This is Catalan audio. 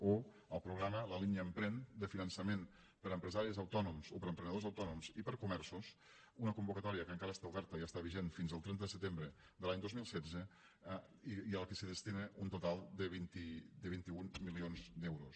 o el programa la línia emprèn de finançament per a empresaris autònoms o per a emprenedors autònoms i per a comerços una convocatòria que encara està oberta i està vigent fins al trenta de setembre de l’any dos mil setze i a què es destina un total de vint un milions d’euros